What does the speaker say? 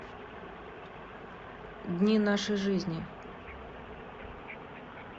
дни нашей жизни